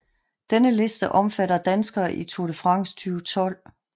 Denne liste omfatter danskere i Tour de France 2012